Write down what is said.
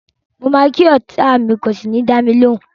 Mo ma ki ọta mi kò sí ni dámilóhùn.